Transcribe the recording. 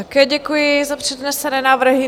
Také děkuji za přednesené návrhy.